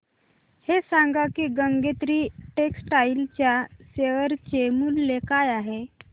हे सांगा की गंगोत्री टेक्स्टाइल च्या शेअर चे मूल्य काय आहे